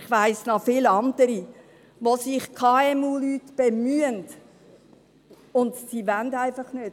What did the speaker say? Ich weiss noch von vielen anderen, wo sich KMULeute bemühen – und sie wollen einfach nicht.